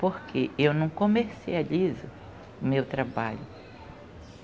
Porque eu não comercializo o meu trabalho.